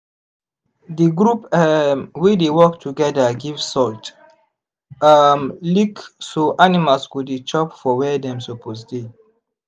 the group um wey dey work togeda give salt um lick so animals go dey chop for where dem suppose dey